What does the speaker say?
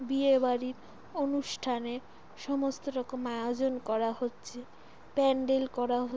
বিয়ে বাড়ির অনুষ্ঠানের সমস্ত রকম আয়োজন করা হচ্ছে। প্যান্ডেল করা হচ --